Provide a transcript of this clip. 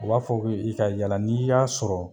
U b'a fɔ k'i ka yala n'i y'a sɔrɔ